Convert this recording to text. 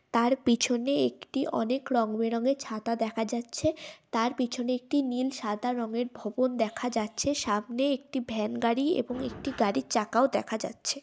তাঁর পিছনে একটি অনেক রং বেরং এর ছাতা দেখা যাচ্ছে । তাঁর পিছনে একটি নীল সাদা রং এর ভবন দেখা যাচ্ছে । সামনে একটা ভ্যান গাড়ি এবং একটি গাড়ির চাকাও দেখা যাচ্ছে।